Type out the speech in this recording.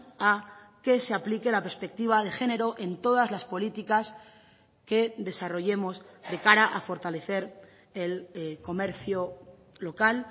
a que se aplique la perspectiva de género en todas las políticas que desarrollemos de cara a fortalecer el comercio local